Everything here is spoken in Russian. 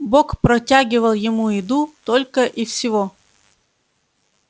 бог протягивал ему еду только и всего